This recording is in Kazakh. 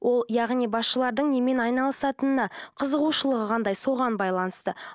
ол яғни басшылардың немен айналысатынына қызығушылығы қандай соған байланысты